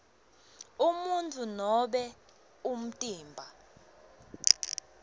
umuntfu nobe umtimba